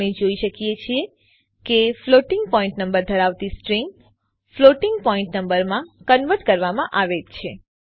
આપણે જોઈ શકીએ છીએ કે ફ્લોટિંગ પોઇન્ટ નંબર ધરાવતી સ્ટ્રીંગ ફ્લોટિંગ પોઇન્ટ નંબરમાં કન્વર્ટ કરવામાં આવેલ છે